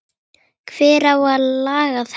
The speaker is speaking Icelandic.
Hver á að laga þetta?